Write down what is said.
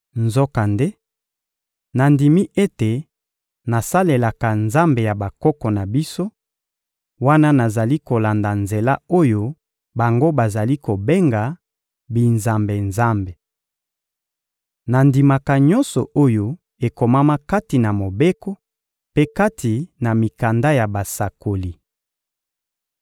Nzokande, nandimi ete nasalelaka Nzambe ya bakoko na biso, wana nazali kolanda Nzela oyo bango bazali kobenga «binzambe-nzambe.» Nandimaka nyonso oyo ekomama kati na Mobeko mpe kati na mikanda ya basakoli.